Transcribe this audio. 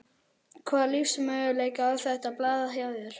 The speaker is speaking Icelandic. Hvaða lífsmöguleika á þetta blað hjá þér?